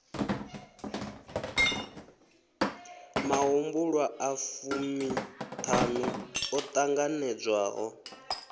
mahumbulwa a fumiṱhanu o ṱanganedzwaho